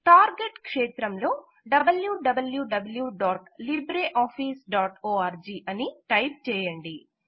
target క్షేత్రంలో wwwlibreofficeorg అని type చేయండి